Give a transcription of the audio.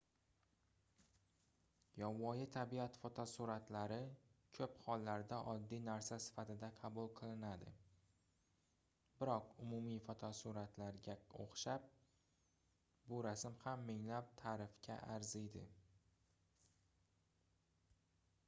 yovvoyi tabiat fotosuratlari koʻp hollarda oddiy narsa sifatida qabul qilinadi biroq umumiy fotosuratlarga oʻxshab bu rasm ham minglab taʼrifga arziydi